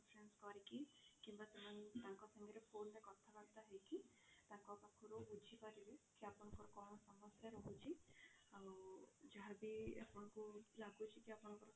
conference କରିକି କିମ୍ବା ତାଙ୍କ ସହ phone ରେ କଥା ବାର୍ତା ହେଇକି ତାଙ୍କ ପାଖରୁ ବୁଝିପାରିବେ କି ଆପଣଙ୍କର କଣ ସମସ୍ୟା ରହୁଛି ଆଉ ଯାହା ବି ଆପଣଙ୍କୁ ଲାଗୁଛି କି ଆପଣଙ୍କ